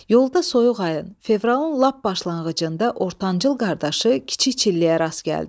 Yolda soyuq ayın, fevralın lap başlanğıcında ortancıl qardaşı kiçik çilləyə rast gəldi.